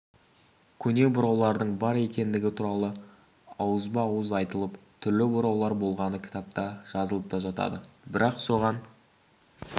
көне бұраулардың бар екендігі туралы ауызба-ауыз айтылып түрлі бұраулар болғаны кітапта жазылып та жатады бірақ соған